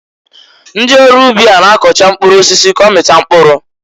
Ndị ọrụ ubi a n'akọcha mkpụrụ osisi k'ọmịta mkpụrụ.